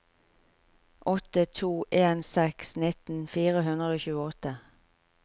åtte to en seks nitten fire hundre og tjueåtte